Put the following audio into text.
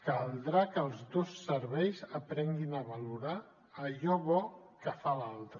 caldrà que els dos serveis aprenguin a valorar allò bo que fa l’altre